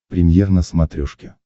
премьер на смотрешке